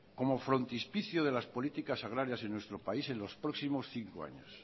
como frontispicio de las políticas agrarias en nuestro país en los próximos cinco años